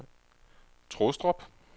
Trustrup